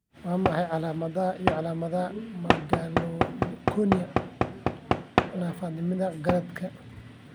Waa maxay calaamadaha iyo calaamadaha Megalocornea naafanimada garaadka